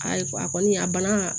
Ayi a kɔni a banna